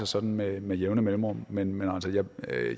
sådan med med jævne mellemrum men